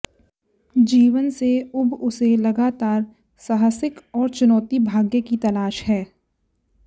जीवन से ऊब उसे लगातार साहसिक और चुनौती भाग्य की तलाश है